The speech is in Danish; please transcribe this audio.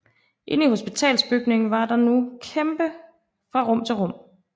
Inde i hospitalsbygningen var der nu kampe fra rum til rum